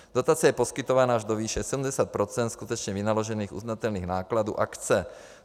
Dotace je poskytována až do výše 70 % skutečně vynaložených uznatelných nákladů akce.